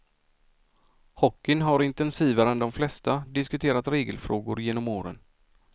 Hockeyn har intensivare än de flesta diskuterat regelfrågor genom åren.